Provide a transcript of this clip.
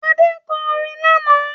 Adé kọ orin lánàá